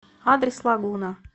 адрес лагуна